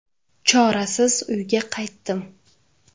Chorasiz uyga qaytdim.